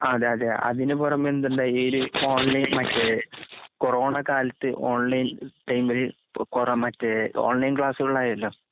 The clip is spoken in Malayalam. അതേയതേ. അതിനുപുറമെന്തുണ്ടായി ഈഓൺലൈനിൽ മറ്റെ കൊറോണക്കാലത്ത് ഓൺലൈൻ പെയിൻമ്പഴി കൊറമറ്റേ ഓൺലൈൻക്ലാസ്സുകളായല്ലൊ.